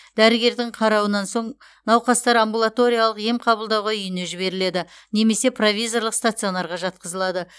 дәрігердің қарауынан соң науқастар амбулаториялық ем қабылдауға үйіне жіберіледі немесе провизорлық стационарға жатқызылады